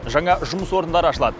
жаңа жұмыс орындары ашылады